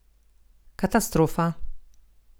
Katastrofa!